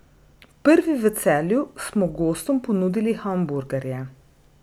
Prvi v Celju smo gostom ponudili hamburgerje.